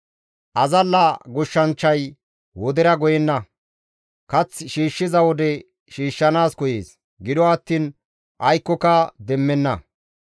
Azalla goshshanchchay wodera goyenna; kath shiishshiza wode shiishshanaas koyees; gido attiin aykkoka demmenna.